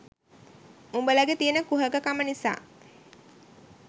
උඹලගේ තියෙන කුහක කම නිසා